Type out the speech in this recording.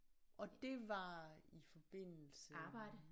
Og det var i forbindelsen